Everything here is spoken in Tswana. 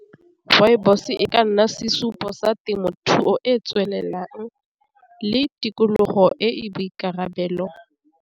Rooibos e ka nna sesupo sa temothuo e e tswelelang le tikologo e e boikarabelo.